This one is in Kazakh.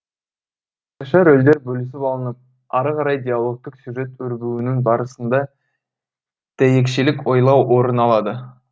рөлдер бөлісіп алынып ары қарай диалогтық сюжет өрбуінің барысында дәйекшелік ойлау орын алады